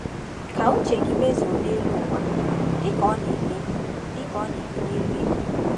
Ka uche gị mezuo n’elu ụwa dịka ọ na-eme dịka ọ na-eme n’eluigwe.